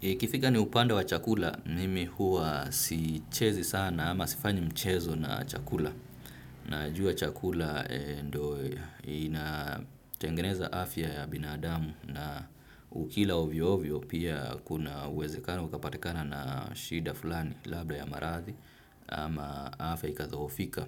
Ikifika ni upande wa chakula, mimi huwa sichezi sana ama sifanyi mchezo na chakula. Najua chakula ndio, inatengeneza afya ya binadamu na ukila hovyo hovyo pia kuna uwezekano, ukapatikana na shida fulani labda ya maradhi ama afya ikadhohofika.